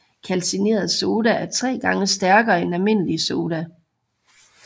Kalcineret Soda er 3 gange stærkere end almindelig soda